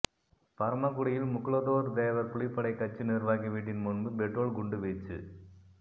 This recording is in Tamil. பரமக்குடியில் முக்குலத்தோர் தேவர் புலிப்படை கட்சி நிர்வாகி வீட்டின் முன்பு பெட்ரோல் குண்டு வீச்சு